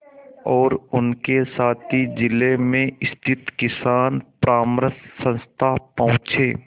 और उनके साथी जिले में स्थित किसान परामर्श संस्था पहुँचे